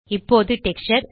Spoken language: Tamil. இப்போது டெக்ஸ்சர்